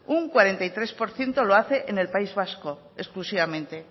un cuarenta y tres por ciento lo hace en el país vasco exclusivamente